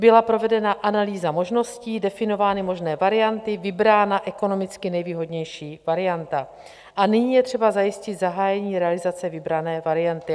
Byla provedena analýza možností, definovány možné varianty, vybrána ekonomicky nejvýhodnější varianta a nyní je třeba zajistit zahájení realizace vybrané varianty.